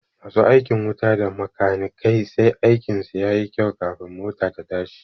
Masu aikin wuta da makanikai sai aikin su yayi kyau kafin mota ta tashi